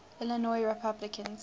illinois republicans